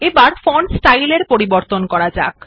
এবার font style এর পরিবর্তন করা যাক